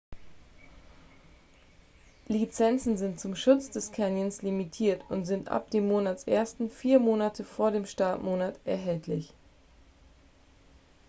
lizenzen sind zum schutz des canyons limitiert und sind ab dem monatsersten vier monate vor dem startmonat erhältlich